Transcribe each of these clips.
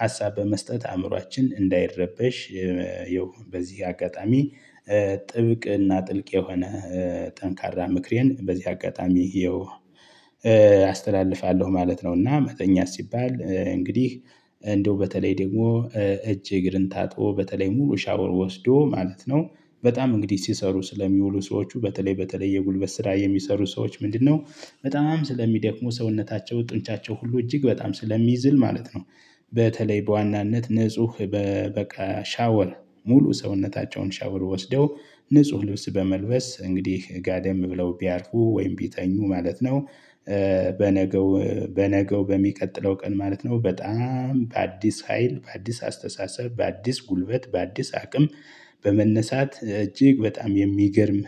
ሀሳብ በመስጠት አእምሮአችን እንዳይረበሽ። ይኸው በዚህ አጋጣሚ ጥብቅና ጥልቅ የሆነ ጠንካራ ምክሬን በዚህ አጋጣሚ ይሄው አስተላልፋለሁ ማለት ነው። እና መተኛት ሲባል እንግዲህ እንደው በተለይ ደግሞ እጅ እግርን ታጥቦ በተለይ ሙሉ ሻወር ወስዶ ማለት ነው። በጣም እንግዲህ ሲሰሩ ስለሚውሉ ሰዎቹ በተለይ በተለይ የጉልበት ስራ የሚሰሩ ሰዎች ምንድነው በጣም ስለሚደክሙ ሰውነታቸው ጡንቻቸው ሁሉ እጅግ በጣም ስለሚዝል ማለት ነው። በተለይ በዋናነት ንጹህ በቃ ሻወር ሙሉ ሰውነታቸውን ሻወር ወስደው ንጹህ ልብስ በመልበስ እንግዲህ ጋደም ብለው ቢያርፉ ወይም ቢተኙ ማለት ነው። በነገው በነገው በሚቀጥለው ቀን ማለት ነው በጣም በአዲስ ሀይል በአዲስ አስተሳሰብ በአዲስ ጉልበት በአዲስ አቅም በመነሳት እጅግ በጣም የሚገርም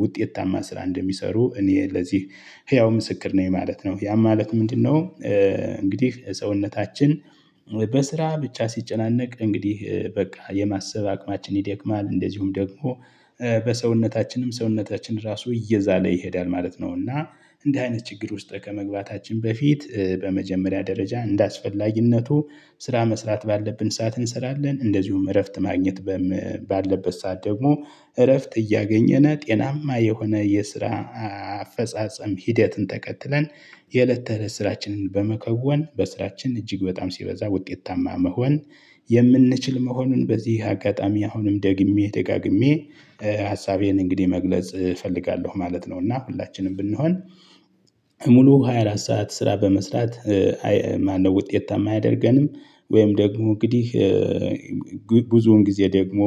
ውጤታማ ስራ እንደሚሰሩ እኔ ለዚህ ህያው ምስክር ነኝ ማለት ነው። ያም ማለት ምንድነው? እንግዲህ የሰውነታችን በስራ ብቻ ሲጨናነቅ እንግዲህ በቃ የማሰብ አቅማችን ይደክማል እንደዚሁም ደግሞ በሰውነታችንም ሰውነታችን ራሱ እየዛለ ይሄዳል ማለት ነው። እና እንደ አይነት ችግር ውስጥ ከመግባታችን በፊት በመጀመሪያ ደረጃ እንዳስፈላጊነቱ ስራ መስራት ባለብን ሰዓት እንሰራለን። እንደዚሁም እረፍት ማግኘት ባለበት ሰዓት ደግሞ እረፍት እያገኘነ ጤናማ የሆነ የስራ አፈጻጸም ሂደትን ተከትለን። የእለት ተእለት ስራችንን በመከወን በስራችን እጅግ በጣም ሲበዛ ውጤታማ መሆን የምንችል መሆኑን በዚህ አጋጣሚ አሁንም ደግሜ ደጋግሜ ሀሳቤን እንግዲህ መግለጽ እፈልጋለሁ ማለት ነው። እና ሁላችንም ብንሆን ሙሉ 24 ሰዓት ስራ በመስራት ማነው ውጤት ታማ አያደርገንም? ወይም ደግሞ እንግዲህ ብዙውን ጊዜ ደግሞ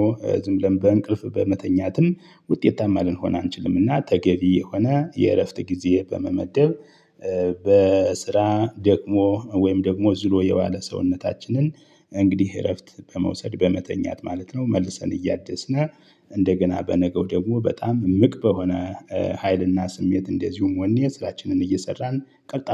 ዝም ብለን በእንቅልፍ በመተኛትም ውጤታማ ልንሆን አንችልምና ተገቢ የሆነ የእረፍት ጊዜ በመመደብ። በስራ ደክሞ ወይም ደግሞ ዝሎ የባለ ሰውነታችንን እንግዲህ እረፍት በመውሰድ በመተኛት ማለት ነው መልሰን እያደስነ እንደገና በነገው ደግሞ በጣም እምቅ በሆነ ሀይልና ስሜት እንደዚሁም ወኔ ስራችንን እየሰራን ቀልጣፋ